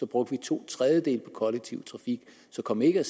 brugte to tredjedele på den kollektive trafik så kom ikke